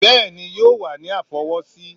Bẹ́ẹ̀ni o yoo wa ni a fọwọsi.